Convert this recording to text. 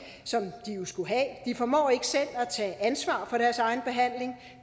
som de jo skulle have de formår ikke selv at tage ansvar for deres egen behandling